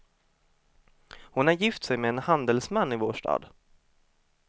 Hon har gift sig med en handelsman i vår stad.